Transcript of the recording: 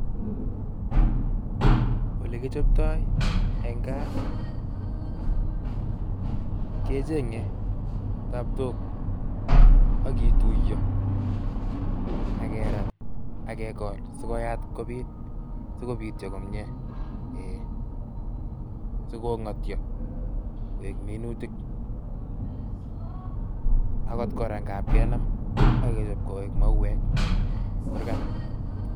Olekichoptoi en kaa kecheng'e tabtok ak kituiyo ak kerat ak kekol sikoyat kobiit sikobityo komie sikong'otyo koik minutik akot kora nag'ab kenam ak kechop koik mauek en kurkat.